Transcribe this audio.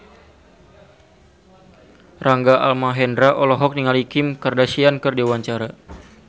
Rangga Almahendra olohok ningali Kim Kardashian keur diwawancara